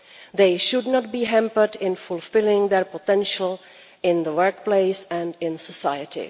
They should not be hampered in fulfilling their potential in the workplace and in society.